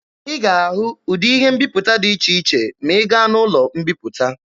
Ị ga-ahụ ụdị ihe mbiputa dị iche iche ma ị gaa n'ụlọ mbiputa.